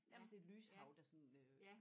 Nærmest et lyshav der sådan øh